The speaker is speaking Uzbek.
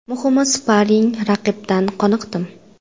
Muhimi sparing raqibdan qoniqdim.